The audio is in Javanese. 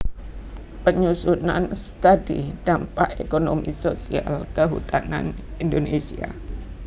Penyusunan Study Dampak Ekonomi Sosial Kehutanan Indonésia